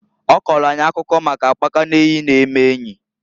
Ọ kọọlụ akụkọ maka akpaka n'eyi na-eme enyi.